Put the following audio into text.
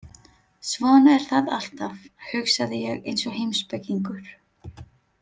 Svona er það alltaf, hugsaði ég eins og heimspekingur.